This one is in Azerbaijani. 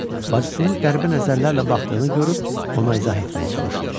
Bacısının qəribə nəzərlərlə baxdığını görüb ona izah etməyə çalışdı.